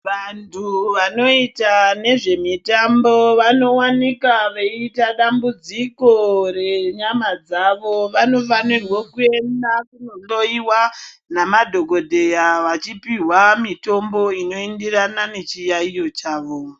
Vantu vanoita nezvemitambo vanowanika veita dambudziko renyama dzavo vanofanirwe kuenda kunohloyiwa namadhokodheya vachipiwa mitombo inoenderana nechiyayiyo chavo.